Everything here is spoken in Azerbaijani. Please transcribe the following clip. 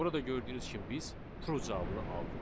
Burada gördüyünüz kimi biz true cavabını aldıq.